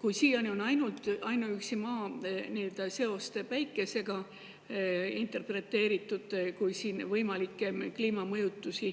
Kui siiani on ainuüksi Maa seost Päikesega interpreteeritud kui võimalike kliimamõjutuste